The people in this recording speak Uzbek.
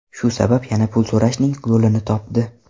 Shu sabab yana pul so‘rashning yo‘lini topdi.